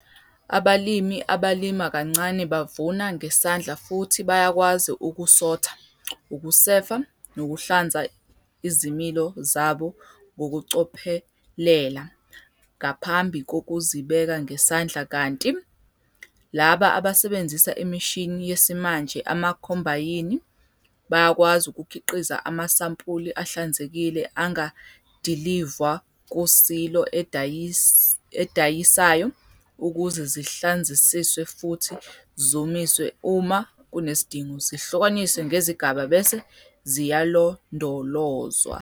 Abalimi abalima kancane bavuna ngesandla futhi bayakwazi ukusotha, ukusefa nokuhlanza izilimo zabo ngokucophelela ngaphambi kokuzibeka ngesandla kanti laba abasebenzisa imishini yesimanje ama-combayini bayakwazi ukukhiqiza amasampuli ahlanzekile angadilivwa ku-silo edayisayo ukuze zihlanzisiswe futhi, zomiswe uma kunesidingo, zihlukaniswe ngezigaba bese ziyalondolozwa.